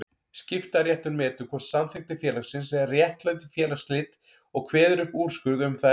Skiptaréttur metur hvort samþykktir félagsins réttlæti félagsslit og kveður upp úrskurð um það efni.